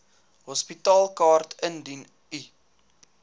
hospitaalkaart indien u